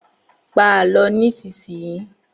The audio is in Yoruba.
Pa Àlọ́ nísinsìnyí!